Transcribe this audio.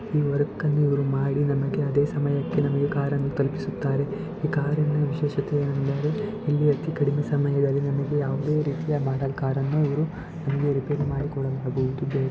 ಈ ವರ್ಕ್ ಅನ್ನು ಇವ್ರು ಮಾಡಿ ನಮಗೆ ಅದೇ ಸಮಯಕ್ಕೆ ನಮಗೆ ಕಾರ ನ್ನು ತಲುಪಿಸುತ್ತಾರೆ. ಈ ಕಾರಿ ನ ವಿಶೇಶತೆ ಏನೆಂದರೆ ಇಲ್ಲಿ ಅತೀ ಕಡಿಮೆ ಸಮಯದಲ್ಲಿ ನಮಗೆ ಯಾವುದೇ ರೀತಿಯ ಕಾರ ನ್ನು ಇವರು ಇಲ್ಲಿ ರಿಪೇರಿ ಮಾಡಿಕೊಡಲಾಗುವುದು.